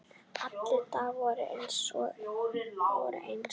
Allir dagar voru eins.